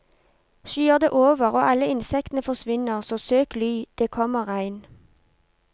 Skyer det over og alle insektene forsvinner, så søk ly, det kommer regn.